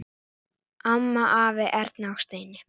Amma, afi, Erna og Steini.